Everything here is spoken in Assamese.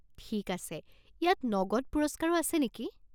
ঠিক আছে, ইয়াত নগদ পুৰস্কাৰো আছে নেকি?